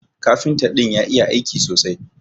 Kafinta din ya iya aiki sosai.